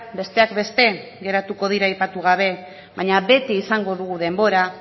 besteak beste geratuko dira aipatu gabe baina beti izango dugu denbora